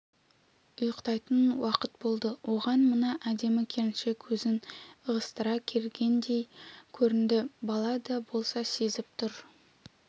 ұйықтайтын уақыт болды оған мына әдемі келіншек өзін ығыстыра келгендей көрінді бала да болса сезіп тұр